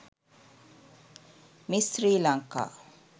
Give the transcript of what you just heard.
miss sri lanka